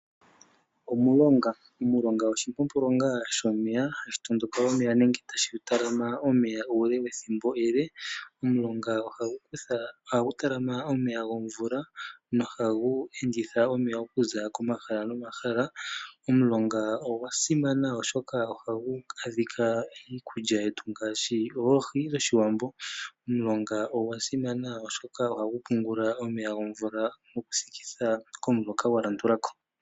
Omulonga oshimpompolonga shomeya, hashi talama nenge hashi tondoka omeya ethimbo ele. Omulonga ohagu talama omeya gomvula nohagu enditha omeya gomvula okuza komahala nomahala. Omulonga ogwa simana oshoka ohagu adhika iikulya yetu ngaashi oohi dhoshiwambo. Ogwa simama wo oshoka ohagu thikitha omeya komuloka gwa landula ko.